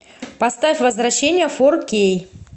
поставь возвращение фор кей